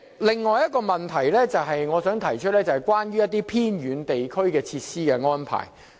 另一個問題，是關於偏遠地區的設施安排。